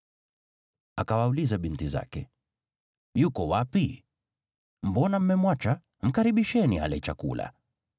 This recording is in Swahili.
Akawauliza binti zake, “Yuko wapi? Mbona mmemwacha? Mkaribisheni ale chakula.”